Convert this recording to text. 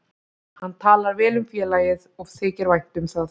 Hann talar vel um félagið og þykir vænt um það.